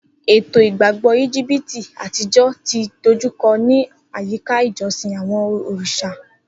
Eto igbagbọ Egipti atijọ ti dojukọ ni ayika ijosin awọn oriṣa.